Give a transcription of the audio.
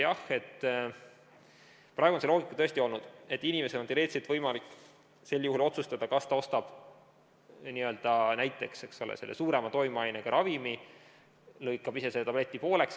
Jah, praegu on see loogika tõesti olnud, et inimesel on teoreetiliselt võimalik sel juhul otsustada, kas ta ostab selle suurema toimeainesisaldusega ravimi ja lõikab ise tableti pooleks.